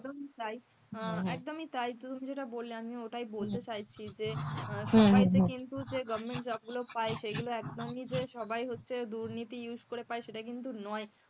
একদম তাই, একদমই তাই তুমি যেটা বললে আমি ওটাই বলতে চাইছি যে সবাই যে কিন্তু যে government job গুলো পায় সেগুলো একদমই যে সবাই হচ্ছে দুর্নীতি use করে পায় সেটা কিন্তু নয়,